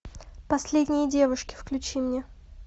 последние девушки включи мне